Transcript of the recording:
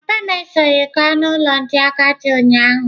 Papa m esoghị m gaa n'ụlọ ndị agadi ụnyaahụ.